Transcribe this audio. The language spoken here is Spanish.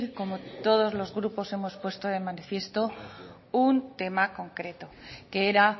como todos los grupos hemos puesto de manifiesto un tema concreto que era